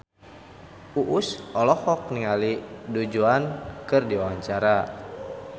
Uus olohok ningali Du Juan keur diwawancara